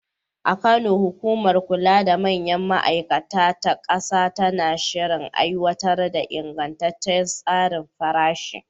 A Kano, hukumar kula da manyan ma’aikata ta ƙasa tana shirin aiwatar da ingantaccen tsarin farashi.